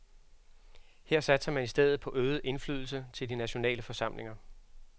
Her satser man i stedet på øget indflydelse til de nationale forsamlinger.